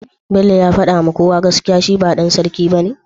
bello ya fada kowa gaskiya shi ba dan sarki bane?